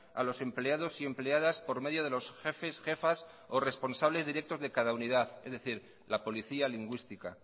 a los empleados y empleadas por medio de los jefes jefas o responsables directos de cada unidad es decir la policía lingüística